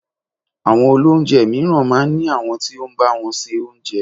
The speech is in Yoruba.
Àwọn olóúnjẹ mìíràn máa ń ní àwọn tí ó ń bá wọn se Oúnjẹ.